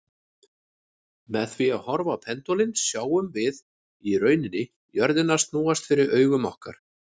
Með því að horfa á pendúlinn sjáum við í rauninni jörðina snúast fyrir augum okkar.